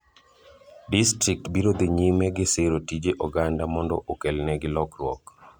Distrikt biro dhi nyime gi siro tije oganda mondo okel ne gi lokruok .